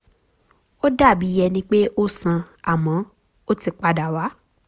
ó dàbí ẹni pé ó sàn àmọ́ ó ti padà wá